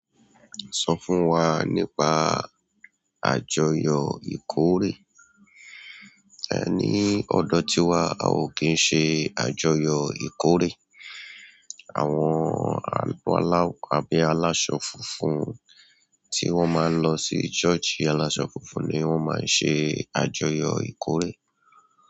Sọ fún wa nípa àjọyọ̀ ìkórè. Ẹ ní ọdọ tíwa, a ò kí ń ṣe àjọyọ̀ ìkórè. Àwọn àbí alaso funfun ti wọn maa lọsí soosi alaso fúnfún ni wọn maa n se àjọyọ̀ ìkórè.